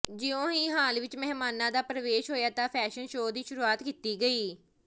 ਜਿਉਂ ਹੀ ਹਾਲ ਵਿੱਚ ਮਹਿਮਾਨਾਂ ਦਾ ਪ੍ਰਵੇਸ਼ ਹੋਇਆ ਤਾਂ ਫੈਸ਼ਨ ਸ਼ੋਅ ਦੀ ਸ਼ੁਰੂਆਤ ਕੀਤੀ ਗਈ